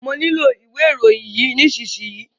Mọ nílò ìwé ìròyìn yẹn nísìsiyìí.